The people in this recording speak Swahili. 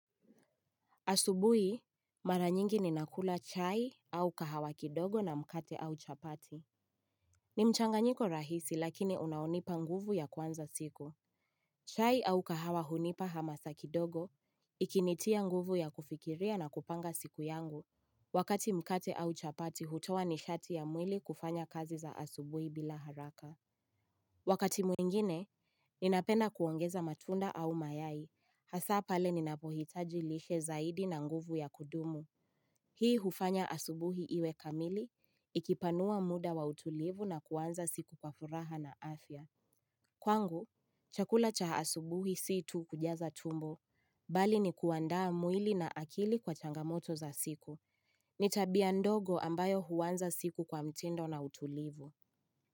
Asubui, mara nyingi ni nakula chai au kahawa kidogo na mkate au chapati. Ni mchanga nyiko rahisi lakini unaonipa nguvu ya kwanza siko. Chai au kahawa hunipa hamasa kidogo, ikinitia nguvu ya kufikiria na kupanga siku yangu. Wakati mkate au chapati hutowa nishati ya mwili kufanya kazi za asubui bila haraka. Wakati mwingine, ninapenda kuongeza matunda au mayai, hasa pale ninapohitaji lishe zaidi na nguvu ya kudumu. Hii hufanya asubuhi iwe kamili, ikipanua muda wa utulivu na kuanza siku kwa furaha na afya. Kwangu, chakula cha asubuhi siitu kujaza tumbo, bali ni kuandaa mwili na akili kwa changamoto za siku. Nitabia ndogo ambayo huwanza siku kwa mtindo na utulivu.